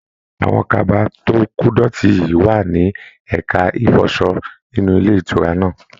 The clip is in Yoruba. Àwọn kaba to kodọti yi wà ní ẹka ifọsọ nínú ilé ìtura náà.